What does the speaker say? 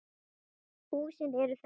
Húsin eru þessi